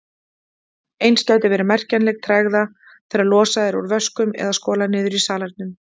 Eins gæti verið merkjanleg tregða þegar losað er úr vöskum eða skolað niður í salernum.